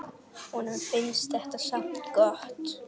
Honum finnst þetta samt gott.